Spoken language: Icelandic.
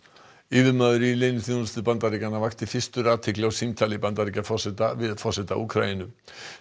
yfirmaður í leyniþjónustu Bandaríkjanna vakti fyrstur athygli á símtali Bandaríkjaforseta við forseta Úkraínu